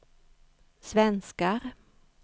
svenskar